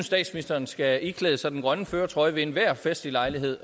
statsministeren skal iklæde sig den grønne førertrøje ved enhver festlig lejlighed